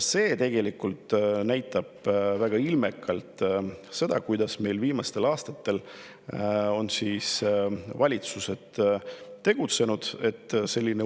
See tegelikult näitab väga ilmekalt seda, kuidas meil viimastel aastatel on valitsused tegutsenud.